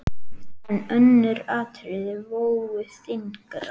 En önnur atriði vógu þyngra.